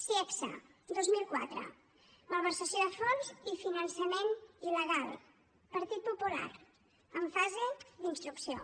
ciegsa dos mil quatre malversació de fons i finançament il·legal partit popular en fase d’instrucció